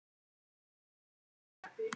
Hann rétti mér flöskuna.